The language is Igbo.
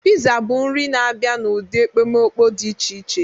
Pizza bụ nri na-abịa n'ụdị ekpomeekpo dị iche iche.